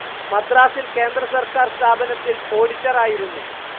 മദ്രാസിൽ കേന്ദ്രസർക്കാർ സ്ഥാപനത്തിൽ ഓഡിറ്ററായിരുന്നു.